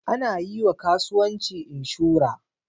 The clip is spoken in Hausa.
Ana yiwa kasuwanci inshura